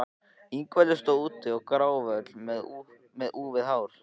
Ingveldur stóð úti gráföl með úfið hár.